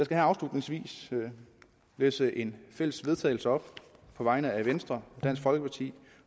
her afslutningsvis læse et fælles vedtagelse op på vegne af venstre dansk folkeparti